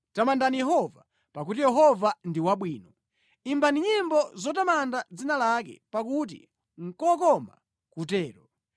Tamandani Yehova, pakuti Yehova ndi wabwino; imbani nyimbo zotamanda dzina lake, pakuti nʼkokoma kutero,